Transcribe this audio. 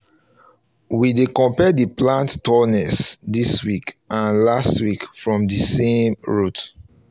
we dey compare the plant tallness this week and last week from the same route